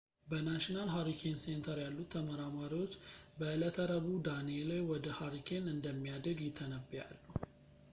በnational hurricane center ያሉት ተመራማሪዎች በእለተ ረቡዕ danielle ወደ hurricane እንደሚያድግ ይተነብያሉ